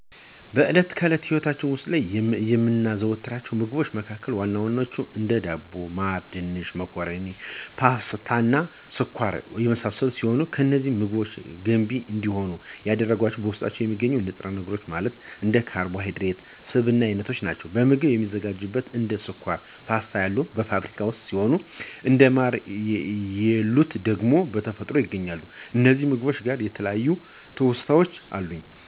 በእለት ተእለት ህይወታች ዉስጥ የምናዘወትራቸው ምግቦች መካከል ዋና ዋናዎቹ፦ እንደ ዳቦ፣ ማር፣ ድንች፣ መኮረኒ፣ ፓስታ፣ ስኳር እና የመሳሰሉት ሲሆኑ፤ እነዚህን ምግቦች ገንቢ እንዲሆንም ያደረጋቸው በዉስጣቸው የሚገኘው ንጥረነገር ማለትም እንደ ካርቦሀይድሬት እና ስብ እይነቶች ናቸዉ። ምግቦችም የሚዘጋጁትም እንደ ስኳር አና ፓስታ ያሉት በፋብሪካ ውስጥ ሲሆኑ እንደ ማር የሉት ደግሞ በተፈጥሮ ይገኛሉ። ከእነዚህም ምግቦች ጋር የተለያዩ ትዉስታወች አሉኝ።